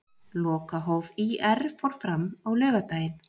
Lokahóf ÍR fór fram á laugardaginn.